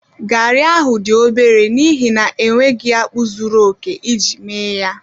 Garri ahụ dị obere n'ihi na enweghị akpu zuru oke iji mee ya